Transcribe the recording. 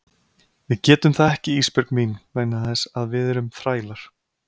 Við getum það ekki Ísbjörg mín vegna þess að við erum þrælar.